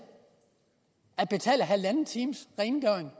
at betale halvanden times rengøring